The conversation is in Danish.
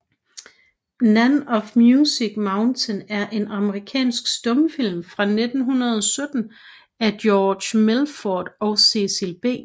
Nan of Music Mountain er en amerikansk stumfilm fra 1917 af George Melford og Cecil B